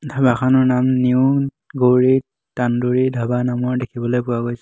ধাবাখনৰ নাম নিউ গৌৰী তানন্দুৰি ধাবা নামৰ দেখিবলৈ পোৱা গৈছে।